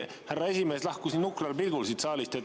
Härra esimees lahkus nii nukral pilgul siit saalist.